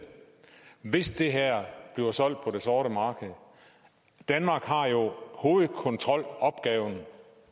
hvis det her bliver solgt på det sorte marked danmark har jo hovedkontrolopgaven